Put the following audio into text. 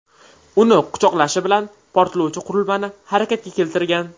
Uni quchoqlashi bilan portlovchi qurilmani harakatga keltirgan.